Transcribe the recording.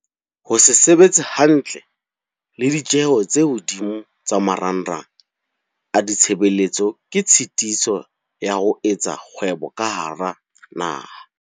Ho se sebetse hantle le ditjeho tse hodimo tsa marangrang a ditshebeletso ke tshitiso ya ho etsa kgwebo ka hara naha.